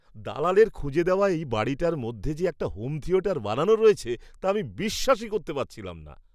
দালালের খুঁজে দেওয়া এই বাড়িটার মধ্যে যে একটা হোম থিয়েটার বানানো রয়েছে, তা আমি বিশ্বাসই করতে পারছিলাম না!